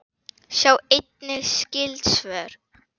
Sjá einnig skyld svör